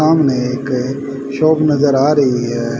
सामने एक शॉप नजर आ रही है।